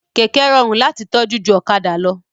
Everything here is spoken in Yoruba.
Kẹ̀kẹ́ rọrùn láti tọ́jú ju ọ̀kadà lọ